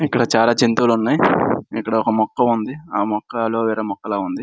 ఇక్కడ చాలా జంతువులు ఉన్నాయి ఇక్కడ ఒక మొక్క ఉంది ఆ మొక్కలో వేరే మొక్కలా ఉంది.